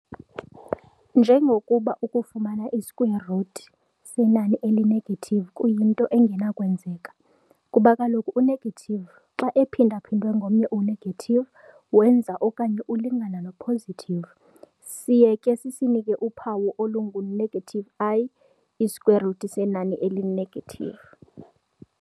Njengokuba ukufumana i-square root senani eli-negative kuyinto engenakwenzeka, kuba kaloku u-negative xa ephinda-phindwe ngomnye u-negative wenza okanye ulingana no-positive. siye ke sisinike uphawu olungu-i i-square root senani eli-negative.